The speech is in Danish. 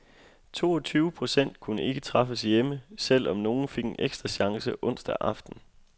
Toogtyve procent kunne ikke træffes hjemme, selv om nogle fik en ekstra chance onsdag aften.